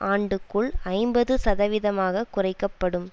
ஆண்டுக்குள் ஐம்பது சதவிதமாக குறைக்க படும்